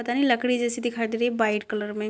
पता नहीं लकड़ी जैसी दिखाई दे रही है व्हाइट कलर में।